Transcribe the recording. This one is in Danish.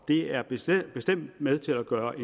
det er bestemt bestemt med til at gøre